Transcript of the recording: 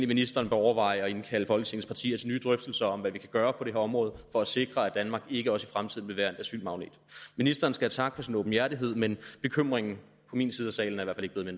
ministeren bør overveje at indkalde folketingets partier til nye drøftelser om hvad vi kan gøre på det her område for at sikre at danmark ikke også i fremtiden vil være en asylmagnet ministeren skal have tak for sin åbenhjertighed men bekymringen i min side af salen er